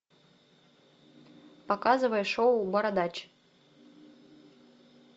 показывай шоу бородач